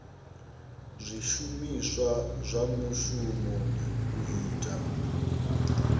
zwishumiswa zwa mushumoni u ita